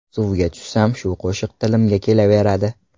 Suvga tushsam, shu qo‘shiq tilimga kelaveradi.